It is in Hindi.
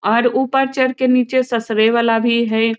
और ऊपर चढ़ के नाचे ससरे वाला भी है।